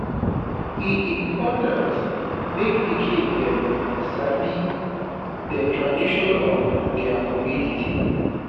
e important mek pikin dem sabi de tradition of dia community.